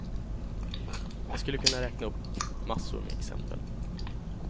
Jag skulle kunna räkna upp massor med exempel.